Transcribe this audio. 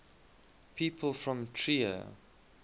people from trier